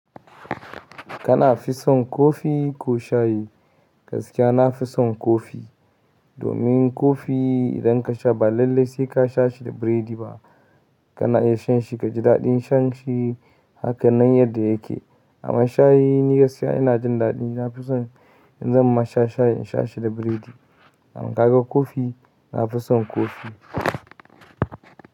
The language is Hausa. Kana fi son kofi ko shayi? Gaskiya na fi son kofi. Domin kofi idan ka sha ba lallai sai ka sha shi da biredi ba. Kana iya shan shi ka ji daɗin shan shi hakanan yadda yake. Amma shayi ni gaskiya ina jin daɗin, na fi son in zan ma sha shayi in sha shi da biredi. Amma ka ga kofi, na fi son kofi.